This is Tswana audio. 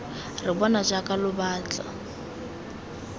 re bona jaaka lo batla